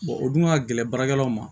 o dun ka gɛlɛn baarakɛlaw ma